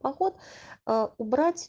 поход а убрать